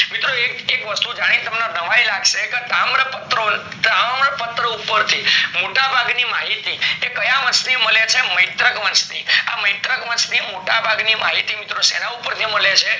મિત્રો એક એક વસ્તુ જાની તમને નવાઈ લાગશે કે તામ્રપત્રો તામ્રપત્રો પર થી મોટા ભાગ ની માહિતી એ કયા વંશ ની મળે છે મૈત્રક વંશ ની આ મૈત્રક વંશ ની મોટા ભાગ ની માહિતી મિત્રો સેના પર થી મળે છે